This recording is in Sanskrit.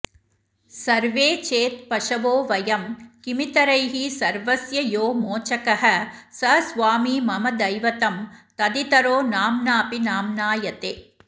सर्वे चेत्पशवो वयं किमितरैः सर्वस्य यो मोचकः स स्वामी मम दैवतं तदितरो नाम्नापि नाम्नायते